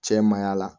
Cɛ ma y'a la